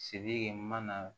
Sidiki mana